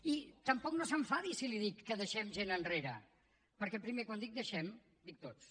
i tampoc no s’enfadi si li dic que deixem gent enrere perquè primer quan dic deixem dic tots